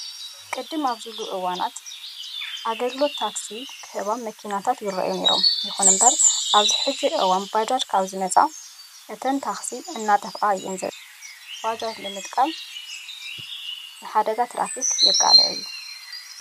ቅድም ኣብ ዝበሉ እዋናት ኣገልግሎት ታክሲ ዝህባ መኪናታት እዩ ነይሩ። ይኹን እምበር ኣብዚ ሕዚ እዋን ባጃጅ ካብ ዝመፅኣ እተን ታክስታት እናጠፍኣ እየን ዝርከባ። ስለዚ ኣብ ዓበይቲ ከተማታት ባጃጅ ንምጥቃም ንሓደጋ ትራፊክ የቃልዕ እዩ።